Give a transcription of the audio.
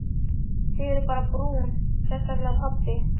Þið eruð bara brún, sérstaklega pabbi.